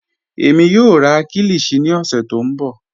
Ẹmi yọọ rà kílíshì ní ọ̀ṣẹ̀ tó nbọ.